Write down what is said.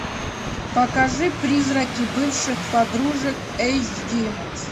покажи призраки бывших подружек эйч ди